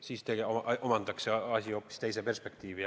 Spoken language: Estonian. Siis omandaks see asi hoopis teise perspektiivi.